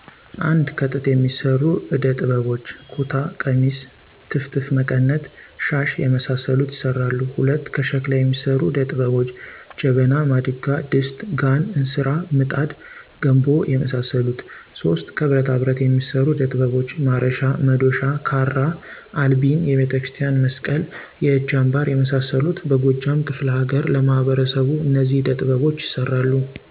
1:-ከጥጥ የሚሰሩዕደ ጥበቧች:- ኩታ፣ ቀሚስ፣ ትፍትፍ መቀነት፣ ሻሽ የመሳሰሉት ይሰራሉ። 2:-ከሸክላ የሚሰሩ ዕደ ጥበቧች:- ጀበና፣ ማድጋ፣ ድስት፣ ጋን፣ እንስራ፣ ምጣድ፣ ገንቦ የመሳሰሉት 3:-ከብረታብረት የሚሰሩ ዕደ ጥበቦች:-ማረሻ፣ መዶሻ፣ ካራ፣ አልቢን፣ የቤተክርስቲያን መስቀል፣ የእጅ አንባር የመሳሰሉት በጎጃም ክፈለ ሀገር ለማህበረሰቡ እነዚህ ዕደ ጥበቦች ይሰራሉ